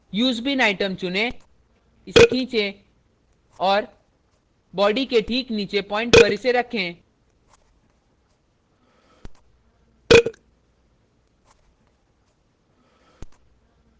use bean item चुनें इसे खीचें और body के ठीक नीचे प्वाइंट पर इसे रखें